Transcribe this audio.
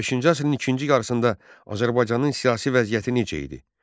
15-ci əsrin ikinci yarısında Azərbaycanın siyasi vəziyyəti necə idi?